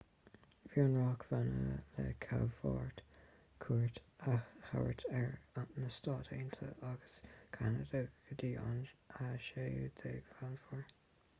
bhí an rac-bhanna le camchuairt a thabhairt ar na stáit aontaithe agus ceanada go dtí an 16 meán fómhair